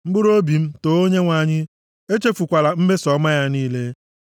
Mkpụrụobi m, too Onyenwe anyị; echefukwala mmeso ọma ya niile,